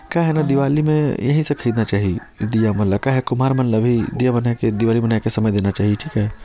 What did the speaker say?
क्या है ना दिवाली में यही सब खरीदना चाहिए दिया मन ला क्या है कुमार मन ला भी दिया बना के दिवाली बना के समय देना चाहिए ठीक हे।